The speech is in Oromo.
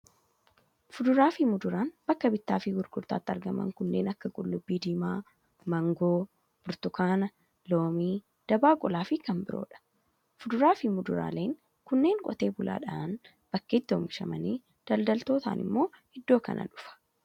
Fuduraa fi muduraan bakka bittaa fi gurgurtaatti argaman kunneen kan akka qullubbii diimaa, maangoo, burtukaana, loomii, dabaaqulaa fi kan biroodha. Fuduraa fi muduraaleen kunneen qotee bulaadhaan bakkeetti oomishamanii daldaltootaan immoo iddoo kana dhufa.